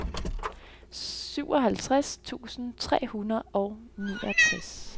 syvoghalvtreds tusind tre hundrede og niogtres